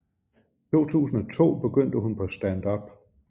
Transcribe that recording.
I 2002 begyndte hun på standup